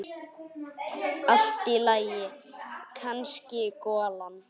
Allt í lagi, kannski golan.